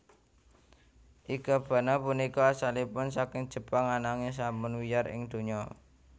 Ikebana punika asalipun saking Jepang ananging sampun wiyar ing donya